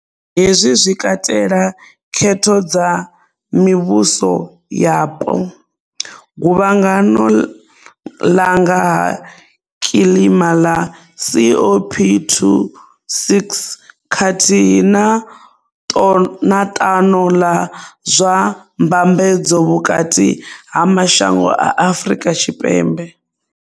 Hezwi zwi katela khetho dza mivhuso yapo, guvhangano ḽa nga ha kilima ḽa COP26 khathihi na ṱano ḽa zwa Mbambedzo Vhukati ha Mashango a Afrika Tshipembe.